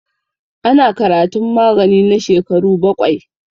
Ana karatun magani na shekaru baƙwai.